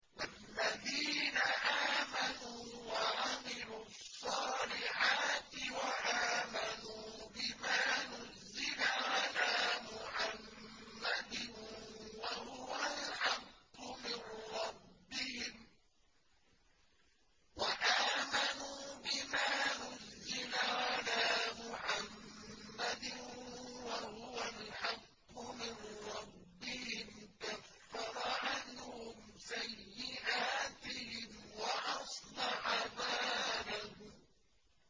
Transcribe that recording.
وَالَّذِينَ آمَنُوا وَعَمِلُوا الصَّالِحَاتِ وَآمَنُوا بِمَا نُزِّلَ عَلَىٰ مُحَمَّدٍ وَهُوَ الْحَقُّ مِن رَّبِّهِمْ ۙ كَفَّرَ عَنْهُمْ سَيِّئَاتِهِمْ وَأَصْلَحَ بَالَهُمْ